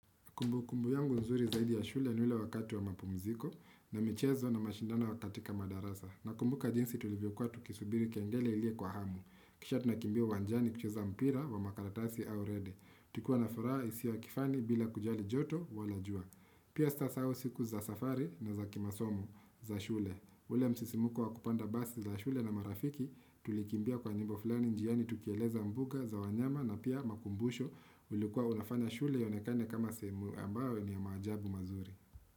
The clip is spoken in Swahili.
Kumbukumbu yangu nzuri ya shule ni ule wakati wa mapumziko na michezo na mashindano katika madarasa. Nakumbuka jinsi tulivyokuwa tukisubiri kengele ilie kwa hamu. Kisha tunakimbia uwanjani kucheza mpira wa makaratasi au rede. Tukiwa na furaha isio ya kifani bila kujali joto wala jua. Pia sitasau siku za safari na za kimasomo za shule. Ule msisimko wa kupanda basi za shule na marafiki. Tulikimbia kwa nyimbo fulani njiani tukieleza mbuga za wanyama na pia makumbusho. Ulikuwa unafanya shule ionakane kama sehemu ambayo ni ya maajabu mazuri.